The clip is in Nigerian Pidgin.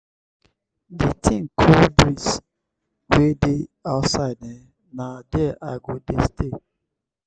the kin cool breeze wey dey outside eh na there i go dey stay.